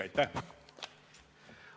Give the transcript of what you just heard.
Aitäh!